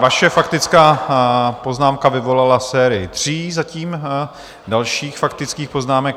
Vaše faktická poznámka vyvolala sérii tří zatím dalších faktických poznámek.